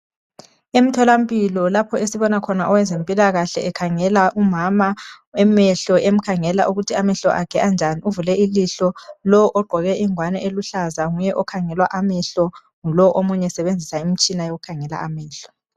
Emtholampilo lapho esibona owezempikahle ekhangela umama amehlo emkhangela ukuthi amehlo akhe anjani ,uvule ilihlo lowo ogqoke ingwane eluhlaza nguye okhangelwa amehlo omunye esebenzisa umtshina wokukhangela amehlo.